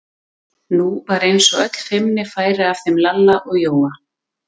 Nú var eins og öll feimni færi af þeim Lalla og Jóa.